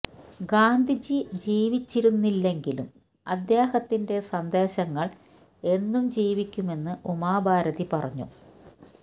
ഗാന്ധിജി ജീവിച്ചിരിക്കുന്നില്ലെങ്കിലും അദ്ദേഹത്തിന്റെ സന്ദേശങ്ങള് എന്നും ജീവിക്കുമെന്നും ഉമാ ഭാരതി പറഞ്ഞു